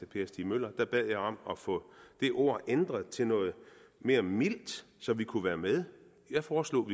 per stig møller bad jeg om at få det ord ændret til noget mere mildt så vi kunne være med jeg foreslog